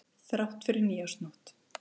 Þrátt fyrir nýársnótt.